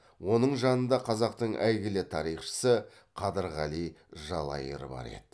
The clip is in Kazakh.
оның жанында қазақтың әйгілі тарихшысы қадырғали жалайыр бар еді